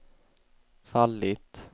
fallit